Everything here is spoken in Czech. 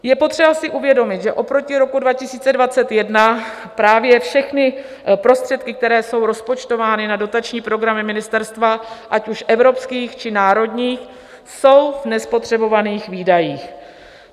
Je potřeba si uvědomit, že oproti roku 2021 právě všechny prostředky, které jsou rozpočtovány na dotační programy ministerstva, ať už evropské, či národní, jsou v nespotřebovaných výdajích.